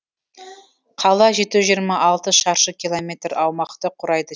қала жеті жүз жиырма алты шаршы километр аумақты құрайды